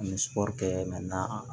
An bɛ kɛ na